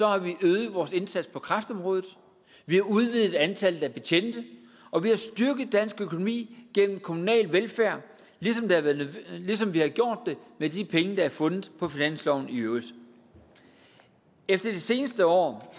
har vi øget vores indsats på kræftområdet vi har udvidet antallet af betjente og vi har styrket dansk økonomi gennem kommunal velfærd ligesom vi har gjort det med de penge der er fundet på finansloven i øvrigt efter i de seneste år